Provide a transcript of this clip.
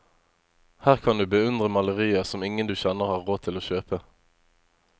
Her kan du beundre malerier som ingen du kjenner har råd til å kjøpe.